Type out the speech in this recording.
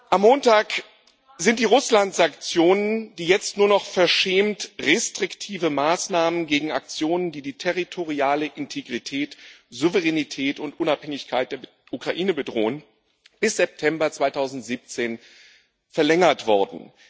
Am Montag sind die Russland Sanktionen, die jetzt nur noch verschämt restriktive Maßnahmen gegen Aktionen, die die territoriale Integrität, Souveränität und Unabhängigkeit der Ukraine bedrohen, bis September 2017 verlängert worden.